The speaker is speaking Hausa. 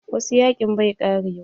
Wasu yaƙin bai ƙarewa.